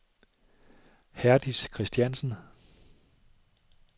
Herdis Kristiansen